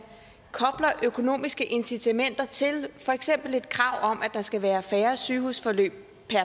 kobler økonomiske incitamenter til for eksempel et krav om at der skal være færre sygehusforløb